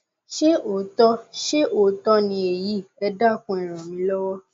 ṣé òótọ ṣé òótọ ni èyí ẹ dákun e ràn mí lọwọ